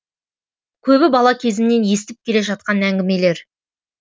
көбі бала кезімнен естіп келе жатқан әңгімелер